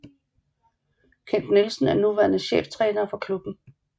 Kent Nielsen er nuværende cheftræner for klubben